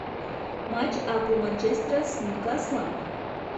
матч апл манчестер с ньюкаслом